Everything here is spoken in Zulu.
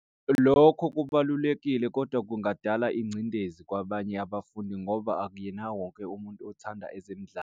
Lokho kubalulekile kodwa kungadala ingcindezi kwabanye abafundi ngoba akuyena wonke umuntu othanda ezemidlalo.